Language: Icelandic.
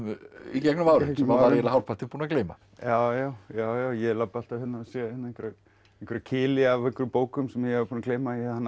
í gegnum árin sem maður var hálfpartinn búinn að gleyma já já já ég labba alltaf hérna og sé einhverja kili af bókum sem ég var búinn að gleyma að ég hannaði